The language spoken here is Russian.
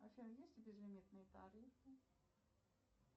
афина есть ли безлимитные тарифы